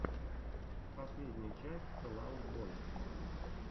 последняя часть фэл аут бой